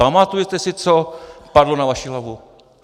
Pamatujete si, co padlo na vaši hlavu?